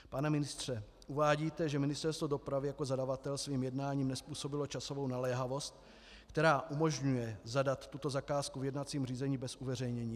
Pane ministře, uvádíte, že Ministerstvo dopravy jako zadavatel svým jednáním nezpůsobilo časovou naléhavost, která umožňuje zadat tuto zakázku v jednacím řízení bez uveřejnění.